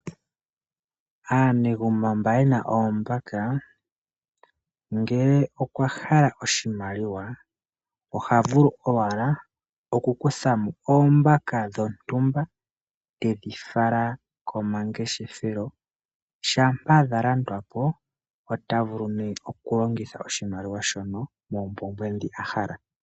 Aanegumbo mboka yena oombaka, ngele oya hala oshimaliwa oha vulu owala oku kutha oombaka dhontumba, tedhi fala komangeshefelo, shampa dha landwapo ota vulu nee okulongitha oshimaliwa shono moompumbwe dhoka ahala.